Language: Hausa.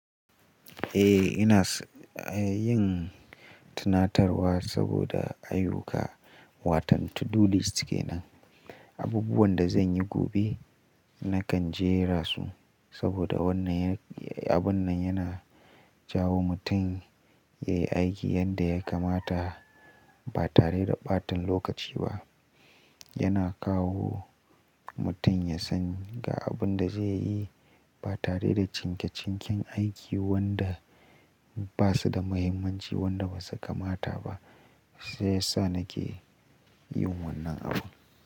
Eh ina yin tunatarwa saboda ayyuka. Watan to do list kenan. Abubuwan da zan yi gobe nakan jera su saboda wannan abun nan yana jawo mutum ya yi aiki yadda ya kamata ba tare da ɓatan lokaci ba. Yana kawo mutum ya san ga abin da zai yi ba tare da cinke cinken aiki wanda ba su da mahimmanci wanda ba su kamata ba. Shiya sa nake yin wannan abun.